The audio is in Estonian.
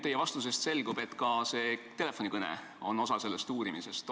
Teie vastusest selgub, et ka see telefonikõne käib selle uurimise alla.